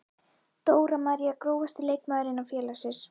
Dóra María Grófasti leikmaður innan félagsins?